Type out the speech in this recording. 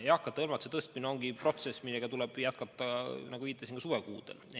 Eakate hõlmatuse tõstmine on protsess, mida tuleb jätkata, nagu viitasin, ka suvekuudel.